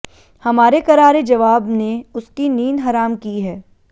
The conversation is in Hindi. हमारे करारे जबाब ने उसकी नींद हराम की है